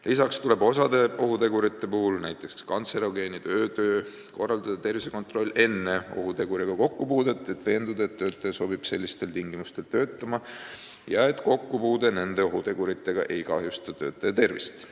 Lisaks tuleb osa ohutegurite puhul, näiteks kantserogeenid ja öötöö, korraldada tervisekontroll enne ohuteguriga kokkupuudet, veendumaks, et töötaja sobib sellistes tingimustes töötama ja kokkupuude nende ohuteguritega ei kahjusta tema tervist.